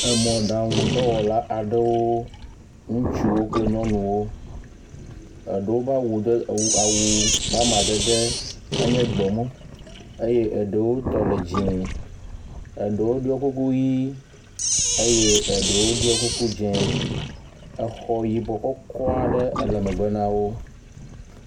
Emɔɖaŋudɔwɔla aɖewo, ŋutsuwo kple nyɔnuwo. Eɖewo ƒe awu ɖe be awu ƒe amadede enye gbemu eye eɖewotɔ le dzɛ̃. Eɖewo ɖiɔ kuku ʋi eye eɖewo ɖiɔ kuku dzɛ̃. Exɔ yibɔ kɔkɔ aɖe ele megbe na wo.